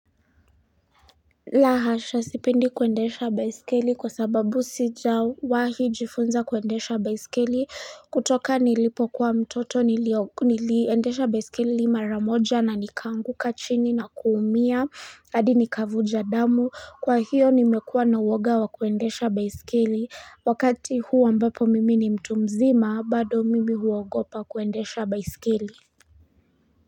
Lahasha sipendi kuendesha baisikeli kwa sababu sijawahi jifunza kuendesha baiskeli kutoka nilipokua mtoto niliendesha baiskeli mara moja na nikanguka chini na kuumia hadi nikavuja damu kwa hiyo nimekuwa na uwoga wa kuendesha baiskeli wakati huu ambapo mimi ni mtu mzima bado mimi huogopa kuendesha baiskeli.